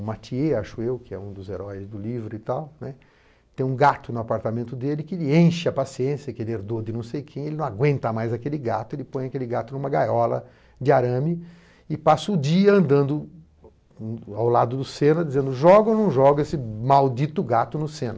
O Mathi, acho eu, que é um dos heróis do livro e tal, né, tem um gato no apartamento dele que ele enche a paciência, que ele herdou de não sei quem, ele não aguenta mais aquele gato, ele põe aquele gato numa gaiola de arame e passa o dia andando ao lado do Senna, dizendo joga ou não joga esse maldito gato no Senna. I